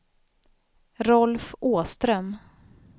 Rolf Åström